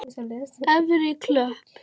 Efri Klöpp